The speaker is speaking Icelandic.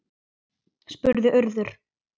spurði Urður.